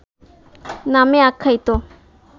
নামে আখ্যায়িত